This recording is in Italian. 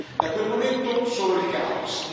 Da quel momento solo il caos.